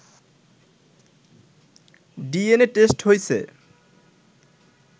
DNA test হইছে